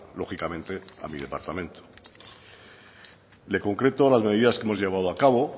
lógicamente a mi departamento le concreto las medidas que hemos llevado a cabo